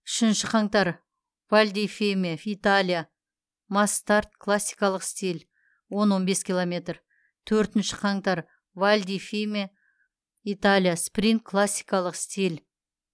үшінші қаңтар валь ди фьемме италия масс старт классикалық стиль он он бес километр төртінші қаңтар валь ди фьемме италия спринт классикалық стиль